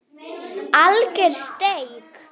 Alger steik